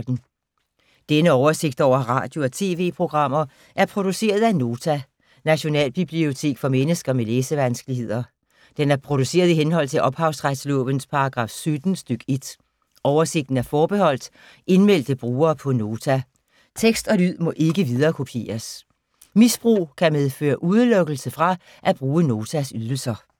Denne oversigt over radio og TV-programmer er produceret af Nota, Nationalbibliotek for mennesker med læsevanskeligheder. Den er produceret i henhold til ophavsretslovens paragraf 17 stk. 1. Oversigten er forbeholdt indmeldte brugere på Nota. Tekst og lyd må ikke viderekopieres. Misbrug kan medføre udelukkelse fra at bruge Notas ydelser.